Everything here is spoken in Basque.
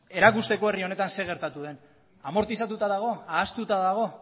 erakusteko herri honetan zer gertatu den amortizatuta dago ahaztuta dago